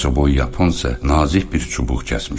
Balacaboy yapon isə nazik bir çubuq kəsmişdi.